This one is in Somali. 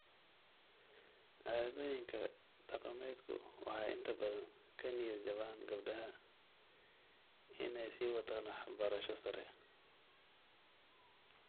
Caadooyinka dhaqameedku waxay inta badan ka niyad-jabaan gabdhaha inay sii wataan waxbarasho sare.